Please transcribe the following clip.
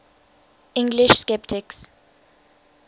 english sceptics